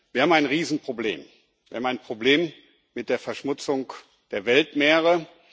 Wir haben ein Riesenproblem, wir haben ein Problem mit der Verschmutzung der Weltmeere.